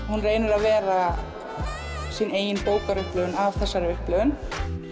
hún reynir að vera sín eigin af þessari upplifun